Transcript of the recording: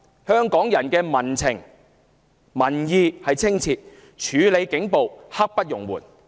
香港人的民情、民意十分清晰：處理警暴，刻不容緩。